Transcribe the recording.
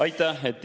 Aitäh!